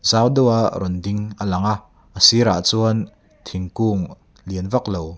sang deuha rawn ding a lang a a zirah chuan thingkung lian vak lo--